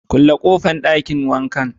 Kulle kofan Dakin wanka